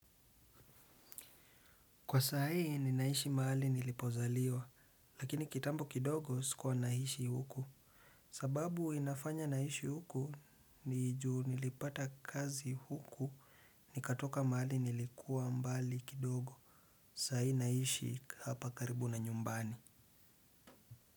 Kwa saa hii ninaishi mahali nilipozaliwa, lakini kitambo kidogo sikuwa naishi huku. Sababu inafanya naishi huku ni juu nilipata kazi huku nikatoka mahali nilikuwa mbali kidogo. Sahi naishi hapa karibu na nyumbani.